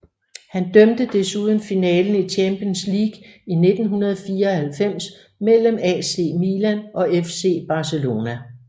Han dømte desuden finalen i Champions League i 1994 mellem AC Milan og FC Barcelona